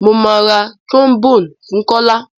Mọ má rá trombone fún Kọla.